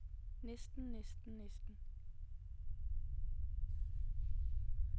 næsten næsten næsten